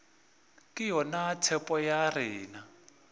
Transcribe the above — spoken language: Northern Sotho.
ke yona tshepo ya rena